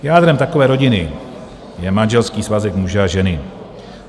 Jádrem takové rodiny je manželský svazek muže a ženy.